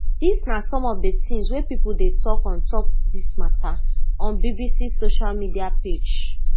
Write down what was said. dis na some of di tins wey pipo dey tok on top dis mata on bbc social media page